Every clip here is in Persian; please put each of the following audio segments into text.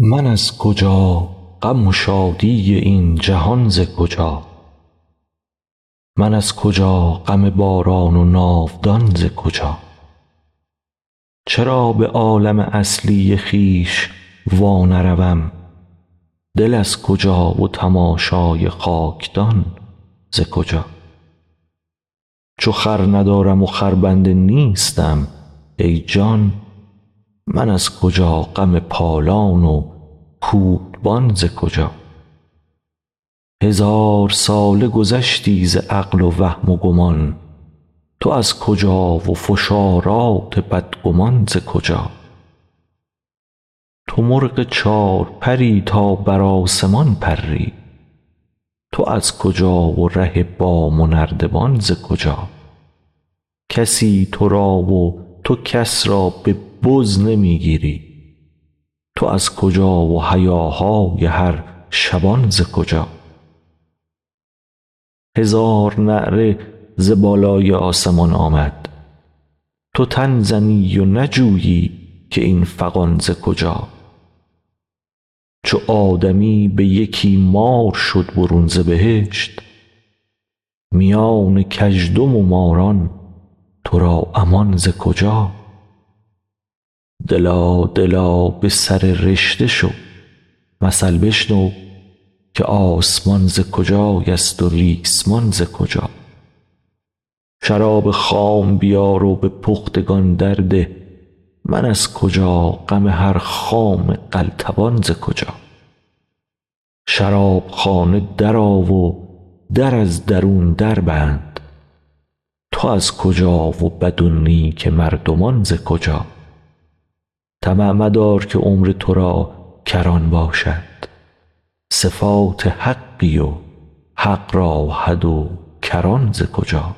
من از کجا غم و شادی این جهان ز کجا من از کجا غم باران و ناودان ز کجا چرا به عالم اصلی خویش وانروم دل از کجا و تماشای خاک دان ز کجا چو خر ندارم و خربنده نیستم ای جان من از کجا غم پالان و کودبان ز کجا هزار ساله گذشتی ز عقل و وهم و گمان تو از کجا و فشارات بدگمان ز کجا تو مرغ چار پر ی تا بر آسمان پری تو از کجا و ره بام و نردبان ز کجا کسی تو را و تو کس را به بز نمی گیری تو از کجا و هیاهای هر شبان ز کجا هزار نعره ز بالای آسمان آمد تو تن زنی و نجویی که این فغان ز کجا چو آدمی به یکی مار شد برون ز بهشت میان کژدم و ماران تو را امان ز کجا دلا دلا به سر رشته شو مثل بشنو که آسمان ز کجایست و ریسمان ز کجا شراب خام بیار و به پختگان درده من از کجا غم هر خام قلتبان ز کجا شراب خانه درآ و در از درون دربند تو از کجا و بد و نیک مردمان ز کجا طمع مدار که عمر تو را کران باشد صفات حقی و حق را حد و کران ز کجا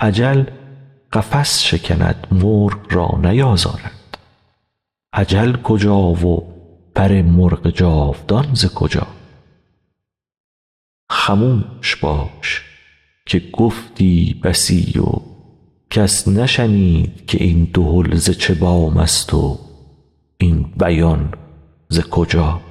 اجل قفس شکند مرغ را نیازارد اجل کجا و پر مرغ جاودان ز کجا خموش باش که گفتی بسی و کس نشنید که این دهل ز چه بام ست و این بیان ز کجا